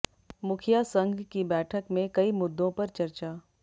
मुखिया संघ की बैठक में कई मुद्दों पर चर्चा